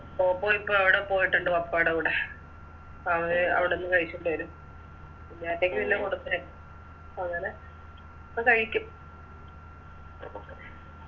പോപ്പോയിപ്പോ അവിടെ പോയിട്ടുണ്ട് പപ്പായുടെ കൂടെ അ വെ അവടുന്ന് കഴിക്കേണ്ട വരും കുഞ്ഞാറ്റക്ക് പിന്നെ കൊടുത്തേ അങ്ങനെ പ്പൊ കഴിക്കും